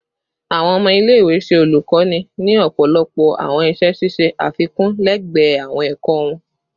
Awọn ọmọ ile-iwe ṣe olukoni ni ọpọlọpọ awọn iṣẹ ṣiṣe afikun lẹgbẹẹ awọn ẹkọ wọn